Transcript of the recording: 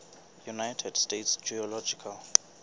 united states geological